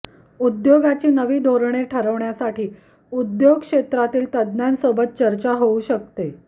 उद्योगाची नवी धोरणे ठरविण्यासाठी उद्योग क्षेत्रातील तज्ज्ञांसोबत चर्चा होऊ शकते